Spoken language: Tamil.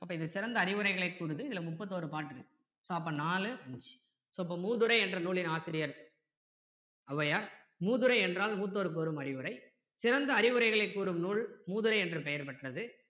அப்போ இது சிறந்த அறிவுரைகளை கூறுது இதுல முப்பத்தொரு பாடல் இருக்கு so அப்போ நாலு so அப்போ மூதுரை என்ற நூலின் ஆசிரியர் ஔவையார் மூதுரை என்றால் மூத்தோர் கூறும் அறிவுரை சிறந்த அறிவுரைகளை கூறும் நூல் மூதுரை என்ற பெயர் பெற்றது